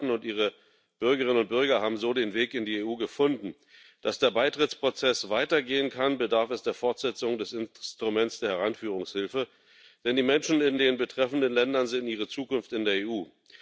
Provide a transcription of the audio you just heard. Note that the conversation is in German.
Viele Staaten und ihre Bürgerinnen und Bürger haben so den Weg in die EU gefunden. Damit der Beitrittsprozess weitergehen kann, bedarf es der Fortsetzung des Instruments der Heranführungshilfe, denn die Menschen in den betreffenden Ländern sehen ihre Zukunft in der EU.